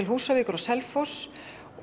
Húsavík og Selfoss